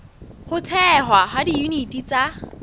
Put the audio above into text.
ho thehwa ha diyuniti tsa